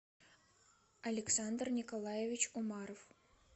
александр николаевич умаров